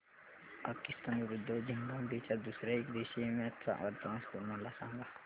पाकिस्तान विरुद्ध झिम्बाब्वे च्या दुसर्या एकदिवसीय मॅच चा वर्तमान स्कोर मला सांगा